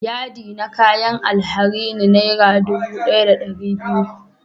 Yadi na kayan alharini naira dubu daya da dari biyu.